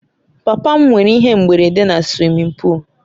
Papa m nwere ihe mberede na suwimin pụụlu